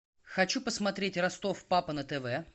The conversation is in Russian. хочу посмотреть ростов папа на тв